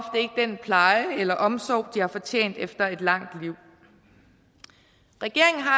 den pleje eller omsorg de har fortjent efter et langt liv regeringen har